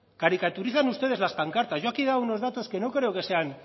caricaturizan ustedes las pancartas yo aquí he dado unos datos que no creo que sean